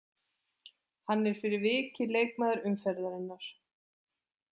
Hann er fyrir vikið leikmaður umferðarinnar.